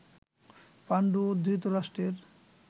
পাণ্ডু ও ধৃতরাষ্ট্রের